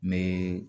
N bɛ